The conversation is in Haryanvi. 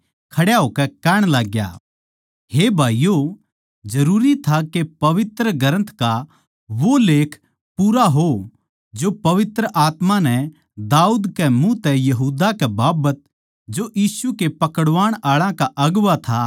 हे भाईयो जरूरी था के पवित्र ग्रन्थ का वो लेख पूरा हो जो पवित्र आत्मा नै दाऊद के मुँह तै यहूदा कै बाबत जो यीशु कै पकड़वाण आळा का अगुवां था पैहल्याए तै कह्या था